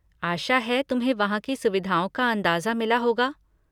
आशा है तुम्हें वहाँ की सुविधाओं का अंदाज़ा मिला होगा।